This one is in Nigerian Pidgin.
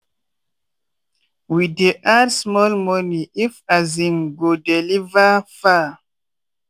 we dey add small money if we um go deliver far.